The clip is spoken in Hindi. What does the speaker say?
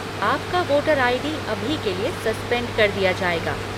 आपका वोटर आई.डी. अभी के लिए सस्पेंड कर दिया जाएगा।